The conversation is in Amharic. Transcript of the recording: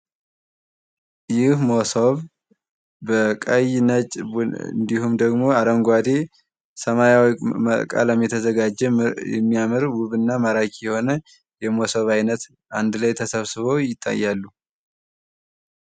ይህ መሶብ በቀይ ነጭ እንድሁም ደግሞ አረንጓዴ ሰማያዊ ቀለም የተዘጋጀ የሚያምር ውብና ማራኪ የሆነ የመሶብ አይነት አንድ ላይ ተሰብስቦ ይታያሉ።